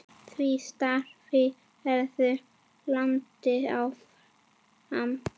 Því starfi verður haldið áfram.